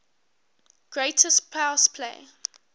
greatest pass play